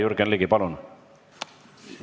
Jürgen Ligi, palun!